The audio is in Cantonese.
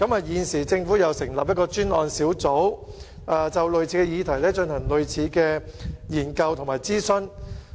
現在，政府又建議成立專責小組，就類似議題進行同類研究和諮詢。